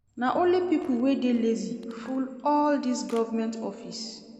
Na only pipo wey dey lazy full all dese government office.